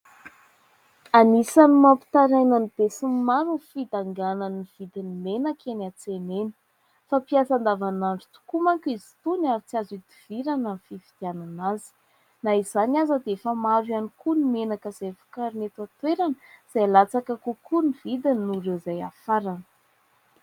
Anisan'ny mampitaraina ny be sy ny maro ny fidanganan'ny vidin'ny menaka eny an-tsena eny. Fampiasa andavanandro tokoa mantsy izy ito ka tsy azo ihodivirana ny fividianana azy. Na izany aza dia efa maro ihany koa ny menaka izay vokarina eto an-toerana izay latsaka kokoa ny vidiny noho ireo izay hafarana.